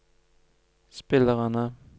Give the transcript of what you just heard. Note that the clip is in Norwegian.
spillerne